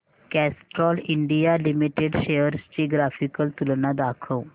Castrol India limited shares ची graphical तुलना दाखव